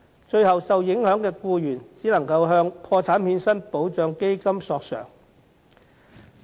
最後，受影響的僱員只能夠向破產欠薪保障基金索償。